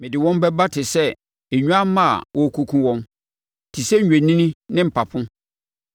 “Mede wɔn bɛba te sɛ nnwammaa a wɔrekɔkum wɔn, te sɛ, nnwennini ne mpapo.